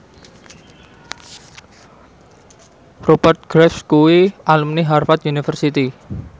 Rupert Graves kuwi alumni Harvard university